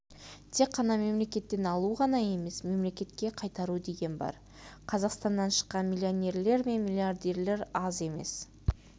тек мемлекеттен алу ғана емес мемлекетке қайтару деген бар қазақстаннан шыққан миллионерлер мен миллиардерлер аз емес